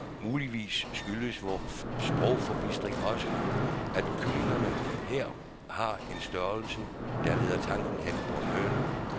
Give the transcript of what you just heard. Muligvis skyldes vor sprogforbistring også, at kyllingerne her har en størrelse, der leder tanken hen på en høne.